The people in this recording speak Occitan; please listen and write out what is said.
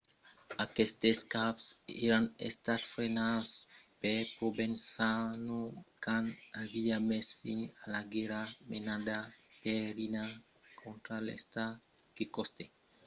aquestes caps èran estats frenats per provenzano quand aviá mes fin a la guèrra menada per riina contra l'estat que costèt la vida als crosats de la màfia giovanni falcone e paolo borsellino en 1992.